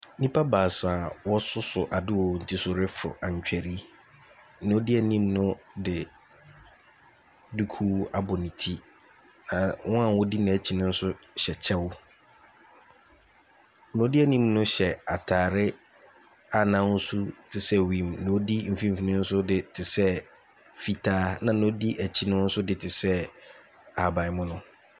Nnipa baasa a wɔsoso ade wɔ wɔn tiri so refo antwere, nea odi anim no de duku abɔ ne ti, na wɔn a wodi n’akyi no hyɛ kyɛw. Nea odi anim no hyɛ ataare a n’ahosu te sɛ wiem, na nea odi mfimfini nso de te sɛ fitaa, na nea odi akyi no nso de te sɛ ahabanmono.